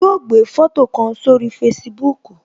Yo gbé foto kan sórí Facebook